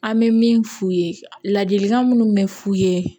An bɛ min f'u ye ladilikan minnu bɛ f'u ye